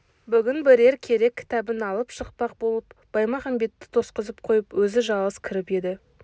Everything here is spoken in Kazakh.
бүгін бірер керек кітабын алып шықпақ болып баймағамбетті тосқызып қойып өзі жалғыз кіріп еді